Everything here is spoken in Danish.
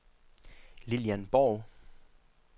Lillian Borg